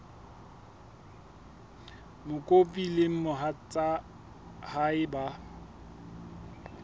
mokopi le mohatsa hae ba